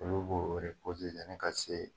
Olu b'o yani ka se